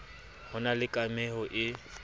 ho na le kameho e